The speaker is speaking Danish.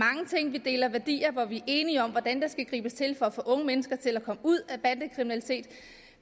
vi deler værdier og hvor vi er enige om hvordan der skal gribes ind for at få unge mennesker til at komme ud af bandekriminalitet